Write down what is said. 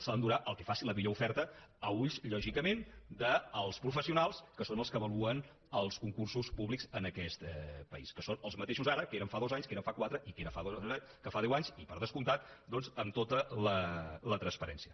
se l’endurà el que faci la millor oferta a ulls lògicament dels professionals que són els que avaluen els concursos públics en aquest país que són els mateixos ara que ho eren fa dos anys que ho eren fa quatre i que ho era fa deu anys i per descomptat doncs amb tota la transparència